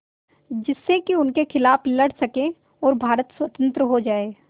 जिससे कि उनके खिलाफ़ लड़ सकें और भारत स्वतंत्र हो जाये